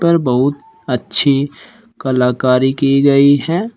पर बहुत अच्छी कलाकारी की गई है।